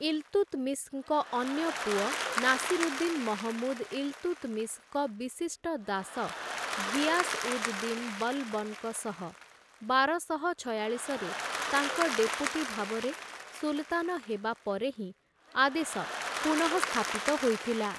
ଇଲ୍‌ତୁତ୍‌ମିଶ୍‌ଙ୍କ ଅନ୍ୟ ପୁଅ ନାସିରୁଦ୍ଦିନ୍‌-ମହମୁଦ୍‌ ଇଲ୍‌ତୁତ୍‌ମିଶ୍‌ଙ୍କ ବିଶିଷ୍ଟ ଦାସ ଘିଆସ୍‌-ଉଦ୍‌-ଦିନ୍‌-ବଲ୍‌ବନ୍‌ଙ୍କ ସହ ବାରଶହ ଛୟାଳିଶରେ ତାଙ୍କ ଡେପୁଟି ଭାବରେ ସୁଲତାନ ହେବା ପରେ ହିଁ ଆଦେଶ ପୁନଃସ୍ଥାପିତ ହୋଇଥିଲା ।